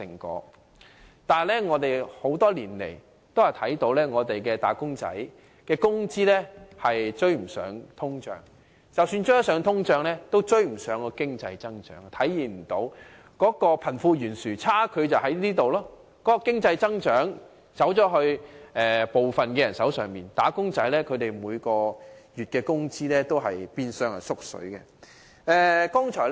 可是，我們多年來看到的卻是"打工仔"的工資追不上通脹，即使追得上通脹，也追不上經濟增長，貧富懸殊的差距便在於此，經濟增長只落在部分人的手上，"打工仔"每月的工資變相"縮水"。